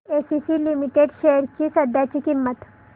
ACC limited shares ची सध्याची किंमत